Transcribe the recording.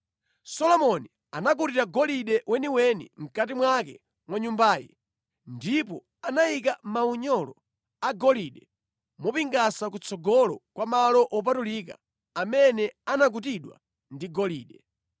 Solomoni anakutira golide weniweni mʼkati mwake mwa Nyumbayi, ndipo anayalika maunyolo a golide mopingasa kutsogolo kwa malo wopatulika amene anakutidwa ndi golide.